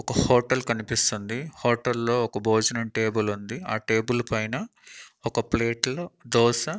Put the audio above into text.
ఒక హోటల్ కనిపిస్తుంది హోటల్ లో ఒక భోజనం టేబుల్ ఉంది ఆ టేబుల్ పైన ఒక ప్లేట్ లో దోస --